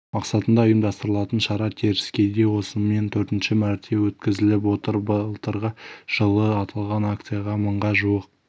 мақсатында ұйымдастырылатын шара теріскейде осымен төртінші мәрте өткізіліп отыр былтырғы жылы аталған акцияға мыңға жуық